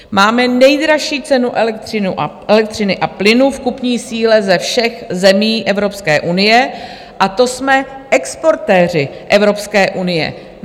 Máme nejdražší cenu elektřiny a plynu v kupní síle ze všech zemí Evropské unie, a to jsme exportéři Evropské unie.